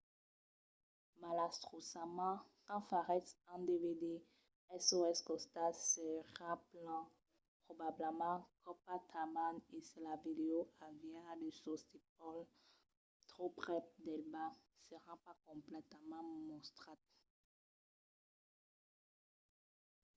malastrosament quand faretz un dvd sos costats seràn plan probablament copats tanben e se la vidèo aviá de sostítols tròp prèp del bas seràn pas completament mostrats